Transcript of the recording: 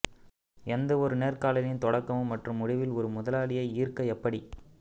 எந்தவொரு நேர்காணலின் தொடக்கம் மற்றும் முடிவில் ஒரு முதலாளியை ஈர்க்க எப்படி